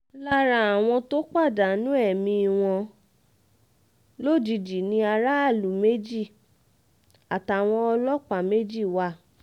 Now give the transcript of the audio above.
lára àwọn tó pàdánù ẹ̀mí wọn um lójijì ni aráàlú méjì àtàwọn ọlọ́pàá um méjì wà